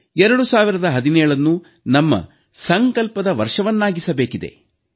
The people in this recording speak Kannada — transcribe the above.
2017ನ್ನು ನಮ್ಮ ಸಂಕಲ್ಪದ ವರ್ಷವನ್ನಾಗಿಸಬೇಕಿದೆ